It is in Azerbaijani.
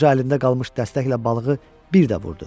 Qoca əlində qalmış dəstəklə balığı bir də vurdu.